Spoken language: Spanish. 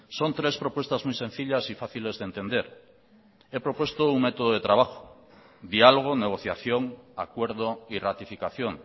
son tres propuestas muy sencillas y fáciles de entender he propuesto un método de trabajo diálogo negociación acuerdo y ratificación